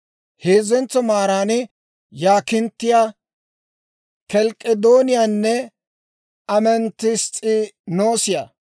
heezzentso maaran yaakinttiyaa, kelk'k'edooniyaanne ametess's'inoosiyaa;